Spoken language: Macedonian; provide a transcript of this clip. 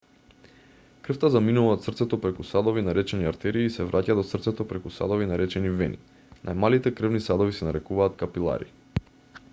крвта заминува од срцето преку садови наречени артерии и се враќа до срцето преку садови наречени вени најмалите крвни садови се нарекуваат капилари